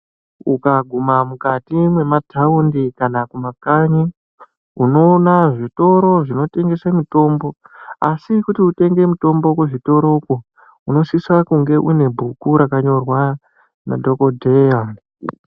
Ukaguma mukati memataundi kana kuma kanyi unoona zvitoro zvinotengesa mitombo asi kuti utenge mutombo kuzvitoro uku unosisa kunge une bhuku rakanyorwa nadhokodheya.